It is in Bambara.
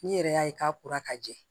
N'i yɛrɛ y'a ye k'a kora ka jɛ